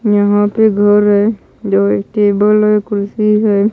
यहां पर घर है जो एक टेबल है कुर्सी है।